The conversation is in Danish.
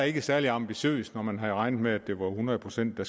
ikke særlig ambitiøst når man havde regnet med at hundrede procent af